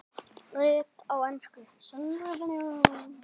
Rit á ensku